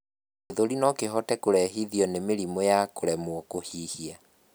gĩthũri nokihote kurehithio ni mĩrimũ ya kuremwo kuhihia